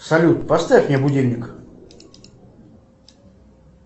салют поставь мне будильник